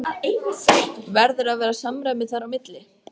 Verður að vera samræmi þar á milli?